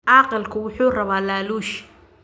Caaqilku wuxuu rabaa laaluush